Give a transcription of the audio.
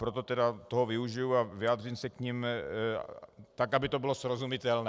Proto toho tedy využiji a vyjádřím se k nim tak, aby to bylo srozumitelné.